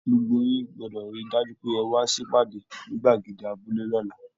Gbogbo yín gbọdọ rí dájú pé e wa sipade nigbagede abúlé l'ọla.